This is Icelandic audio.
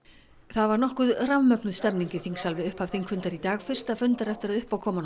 það var nokkuð rafmögnuð stemning í þingsal við upphaf þingfundar í dag fyrsta fundar eftir að uppákoman